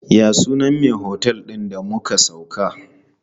Ya sunan me otel din da muka sauka?